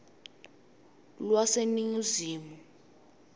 lwaseningizimu